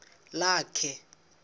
lakhe